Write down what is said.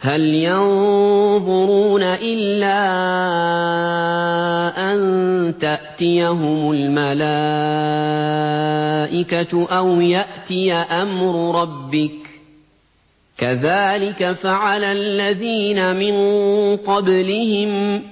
هَلْ يَنظُرُونَ إِلَّا أَن تَأْتِيَهُمُ الْمَلَائِكَةُ أَوْ يَأْتِيَ أَمْرُ رَبِّكَ ۚ كَذَٰلِكَ فَعَلَ الَّذِينَ مِن قَبْلِهِمْ ۚ